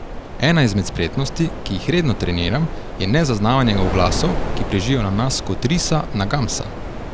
Ena izmed spretnosti, ki jih redno treniram, je nezaznavanje oglasov, ki prežijo na nas kot risa na gamsa.